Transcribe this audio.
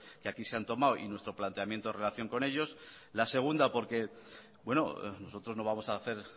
que aquí se han tomado y nuestro planteamiento en relación con ellos la segunda porque nosotros no vamos a hacer